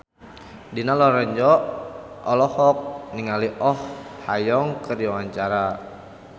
Dina Lorenza olohok ningali Oh Ha Young keur diwawancara